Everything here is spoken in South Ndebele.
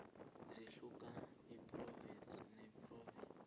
zihluka iphrovinsi nephrovinsi